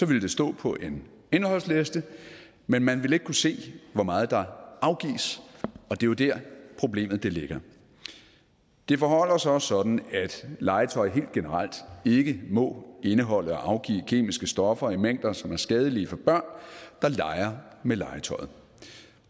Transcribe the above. vil det stå på en indholdsliste men man vil ikke kunne se hvor meget der afgives og det er jo der problemet ligger det forholder sig også sådan at legetøj helt generelt ikke må indeholde og afgive kemiske stoffer i mængder som er skadelige for børn der leger med legetøjet